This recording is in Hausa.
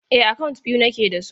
E, akant biyu nake da su.